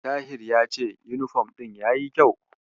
Tahir ya ce yunifom ɗin yayi kyau.